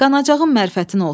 Qanacağın mərifətin olsun.